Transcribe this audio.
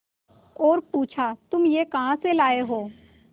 और पुछा तुम यह कहा से लाये हो